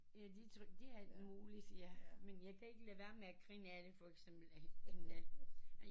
Ja de tror de alt muligt ja men jeg kan ikke lade være med at grine af det for eksempel af